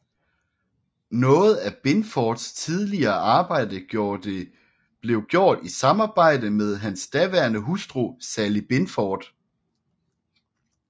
Noget af Binfords tidligere arbejde blev gjort i samarbejde med hans daværende hustru Sally Binford